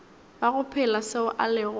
bago phela seo a lego